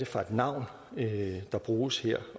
for et navn der bruges her